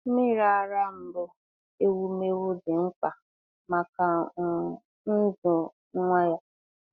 Nmiri ara mbụ ewumewụ dị mkpa maka um ndụ nwa ya.